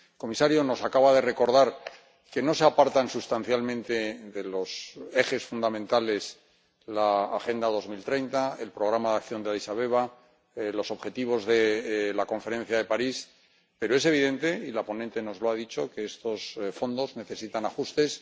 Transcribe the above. Comisario, nos acaba de recordar que no se apartan sustancialmente de los ejes fundamentales que constituyen la Agenda 2030, el programa de acción de Adís Abeba, los objetivos de la Conferencia de París, pero es evidente —y la ponente nos lo ha dicho— que estos fondos necesitan ajustes.